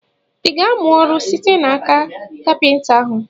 I ga-amụ ọrụ site n'aka kapịnta ahụ?